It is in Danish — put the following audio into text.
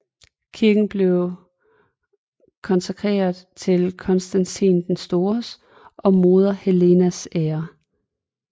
Kirken blev konsekreret til Konstantin den Stores og hans moder Helenas ære